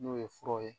N'o ye furaw ye